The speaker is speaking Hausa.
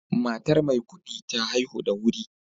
Matar Maikudi ta haihu da wuri